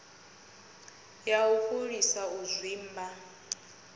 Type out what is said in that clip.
ya u fholisa u zwimba